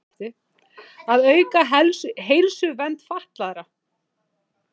Að auka heilsuvernd fatlaðra.